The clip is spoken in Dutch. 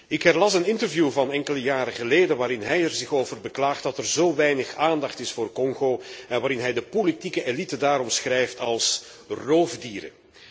Ik herlas een interview van enkele jaren geleden, waarin hij er zich over beklaagt dat er zo weinig aandacht is voor Congo en waarin hij de politieke elite daar omschrijft als roofdieren.